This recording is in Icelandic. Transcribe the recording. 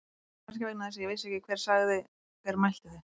Kannski vegna þess að ég vissi ekki hver sagði. hver mælti þau.